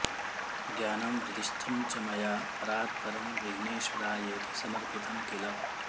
ज्ञानं हृदिस्थं च मया परात्परं विध्नेश्वरायेति समर्पितं किल